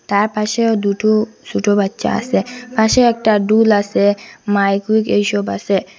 তার পাশেও দুটো ছোটো বাচ্চা আসে পাশে একটা ডোল আসে মাইক উইক এইসব আসে।